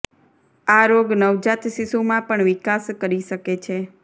આ રોગ નવજાત શિશુમાં પણ વિકાસ કરી શકે છે